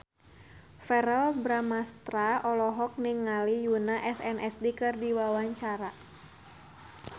Verrell Bramastra olohok ningali Yoona SNSD keur diwawancara